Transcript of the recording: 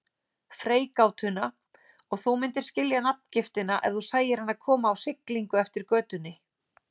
Freigátuna og þú myndir skilja nafngiftina ef þú sæir hana koma á siglingu eftir götunni.